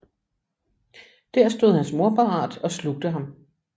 Der stod hans mor parat og slugte ham